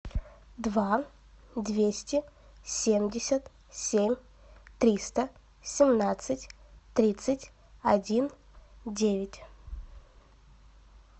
два двести семьдесят семь триста семнадцать тридцать один девять